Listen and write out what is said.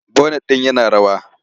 Bonet din yana rawa.